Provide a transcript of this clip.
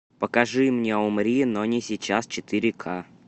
покажи мне умри но не сейчас четыре ка